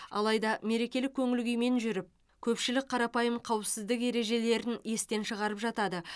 алайда мерекелік көңіл күймен жүріп көпшілік қарапайым қауіпсіздік ережелерін естен шығарып жатады